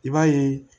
I b'a ye